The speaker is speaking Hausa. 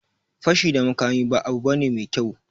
Fashi da makami ba abu bane mai kyau